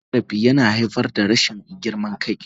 Cin zarafi yana haifar da rashin girman kai.